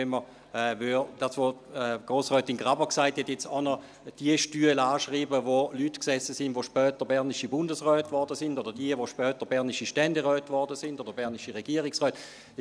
Wenn man – wie Grossrätin Graber gesagt hat – auch noch jene Stühle anschreiben würde, auf welchen Leute sassen, welche später bernisches Bundesräte wurden, oder die Stühle derer, welche später bernische Ständeräte oder bernische Regierungsräte wurden: